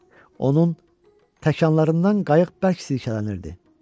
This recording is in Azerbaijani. Onun təkanlarından qayıq bərk sirkələnirdi.